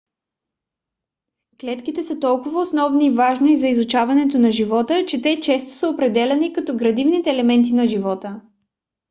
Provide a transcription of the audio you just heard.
клетките са толкова основни и важни за изучаването на живота че те често са определяни като градивните елементи на живота